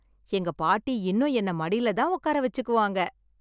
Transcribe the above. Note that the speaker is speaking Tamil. எங்க பாட்டி இன்னும் என்ன மடியில தான் உட்கார வச்சுக்குவாங்க.